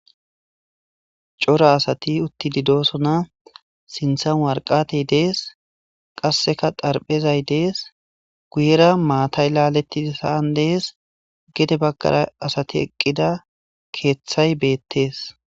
Cora asati utti didosona sinthan warqatey dees qasseka darphezay dees guyera maatay laaletti saan dees gede baggara asati eqqida keeththay beettees.